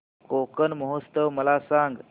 कोकण महोत्सव मला सांग